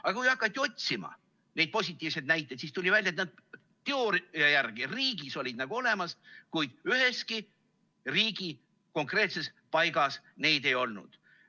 Aga kui hakati otsima positiivseid näiteid, siis tuli välja, et teooria järgi olid nad riigis nagu olemas, kuid üheski konkreetses riigi paigas neid ei olnud.